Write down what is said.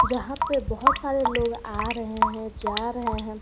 जहां पे बहोत सारे लोग आ रहे हैं जा रहे है।